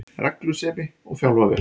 Reglusemi, og þjálfa vel